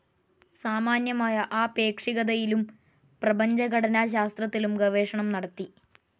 സാമാന്യമായ ആപേക്ഷികതയിലും പ്രപഞ്ചഘടനാശാസ്ത്രത്തിലും ഗവേഷണം നടത്തി.